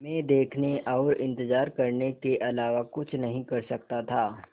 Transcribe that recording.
मैं देखने और इन्तज़ार करने के अलावा कुछ नहीं कर सकता था